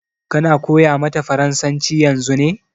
Ka na koya mata farasanci yanzu ne?